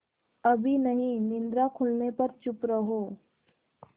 अभी नहीं निद्रा खुलने पर चुप रहो